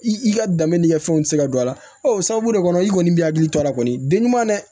I ka danbe ni ka fɛnw tɛ se ka don a la o sababu de kɔnɔ i kɔni b'i hakili to a la kɔni den ɲuman dɛ